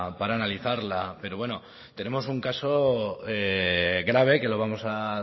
para analizarla pero bueno tenemos un caso grave que lo vamos a